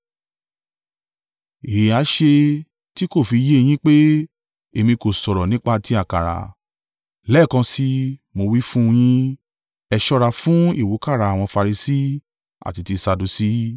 Èéha ṣe tí kò fi yé yín pé èmi kò sọ̀rọ̀ nípa ti àkàrà? Lẹ́ẹ̀kan sí i, mo wí fún yín, ẹ ṣọ́ra fún ìwúkàrà àwọn Farisi àti ti Sadusi.”